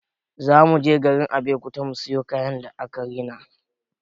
Za mu je garin Abeokuta mu siyo kayan da aka rina.